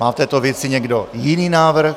Má k této věci někdo jiný návrh?